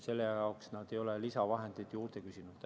Selle jaoks ei ole nad lisavahendeid juurde küsinud.